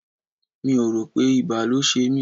Mi ò rò pé ibà ló ṣe mí.